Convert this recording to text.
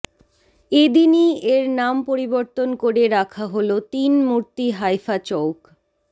এদিনই এর নাম পরিবর্তন করে রাখা হল তিন মূর্তি হাইফা চৌক